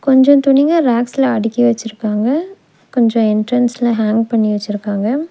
கொஞ்சோ துணிங்க ரேக்ஸ்ல அடுக்கி வச்சிருக்காங்க கொஞ்சோ என்ட்ரன்ஸ்ல ஹேங் பண்ணி வச்சிருக்காங்க.